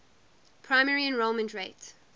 primary enrollment rate